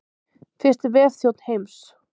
Fyrsti vefþjónn heims.